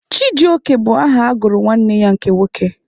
Chijioke bụ aha a gụrụ nwanne ya nke nwoke.